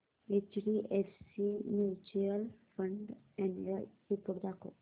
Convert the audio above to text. HDFC mutual fund annual report दाखव